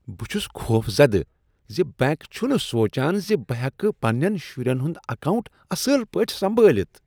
بہٕ چھس خوفزدٕ ز بینک چھنہٕ سوچان ز بہٕ ہیکہٕ پننین شرین ہنٛد اکاونٹ اصل پٲٹھۍ سنبھٲلِتھ ۔